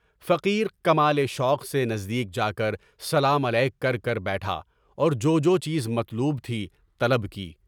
فقیر کمال شوق سے نزدیک جا کر سلام علیک کرکر بیٹھا اور جو جو چیز مطلوب تھی، طلب کی۔